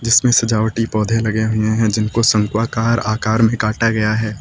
जिसमें सजावटी पौधे लगे हुए हैं जिनको शंकु आकार आकार में काटा गया है।